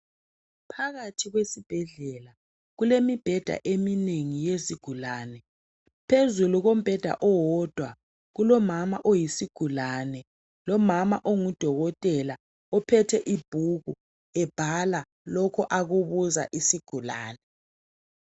Phakathi kwesibhedlela, kulemibheda eminengi yezigulane, phezulu kombheda owodwa, kulomama oyisigulane lomama ongudokotela, uphethe ibhuku ebhala lokho akubuza isigulane.